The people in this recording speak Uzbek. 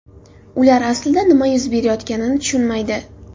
Ular aslida nima yuz berayotganligini tushunmaydi.